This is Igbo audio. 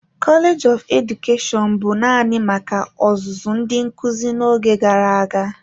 Kọleji nke Edukeshọn bụ naanị maka ọzụzụ ndị nkuzi n'oge gara aga.